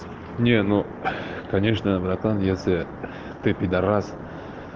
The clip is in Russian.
не ну конечно братан если ты педорас